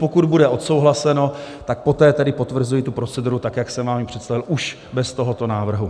Pokud bude odsouhlaseno, tak poté tedy potvrzuji tu proceduru tak, jak jsem vám ji představil už bez tohoto návrhu.